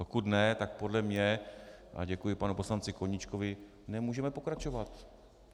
Pokud ne, tak podle mě - a děkuji panu poslanci Koníčkovi - nemůžeme pokračovat.